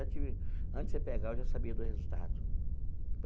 Antes de antes de você pegar, eu já sabia do resultado.